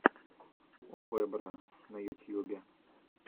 овэбро на ютьюбе